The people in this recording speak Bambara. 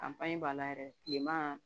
b'a la yɛrɛ kilema